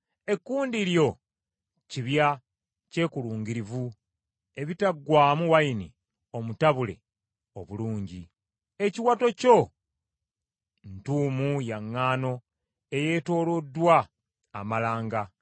Ekkundi lyo kibya kyekulungirivu, ekitaggwaamu nvinnyo entabule obulungi. Ekiwato kyo ntuumu ya ŋŋaano eyeetooloddwa amalanga.